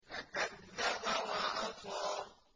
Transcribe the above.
فَكَذَّبَ وَعَصَىٰ